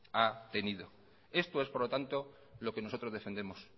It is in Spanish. ha tenido esto es por lo tanto lo que nosotros defendemos